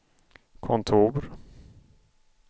kontor